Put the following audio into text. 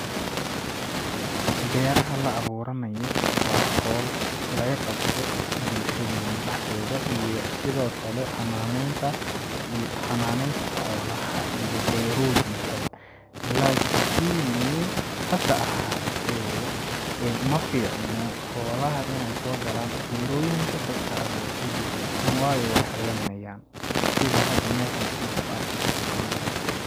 Beeraha la abuuranayo waa howl laga qabto bulshadeena dhaxdeeda iyo sidoo kale xananeynta, xananeynta xoolaha iyo beerooyin ka ba lakini hasa ahaate ee ma fiicno xoolaha ineey soo galaan beerooyin ka dadka abuurte be..waayo weey haleey nayaan sida hada meeshan aan ku arki karno camal.